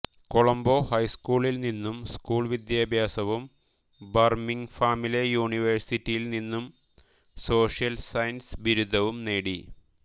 കൊളംബോ ഹൈസ്കൂളിൽ നിന്ന് സ്കൂൾ വിദ്യാഭ്യാസവും ബർമിങ്ഹാമിലെ യൂണിവേഴ്സിറ്റിയിൽ നിന്നും സോഷ്യൽ സയൻസ് ബിരുദവും നേടി